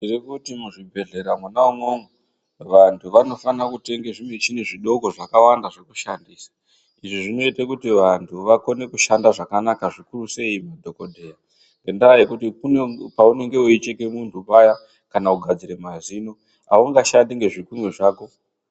Tirikuti muzvibhedhlera mwona imwomwo vantu vanofana kutenga zvimichini zvidoko zvakawanda zvekushandisa. Izvi zvinoite kuti vantu vakone kushanda zvakanaka zvikuru sei madhogodheya. Ngendaa yekuti kune paunenge veicheke muntu paya kana kugadzire mazino haungashandi nezvikunwe zvako.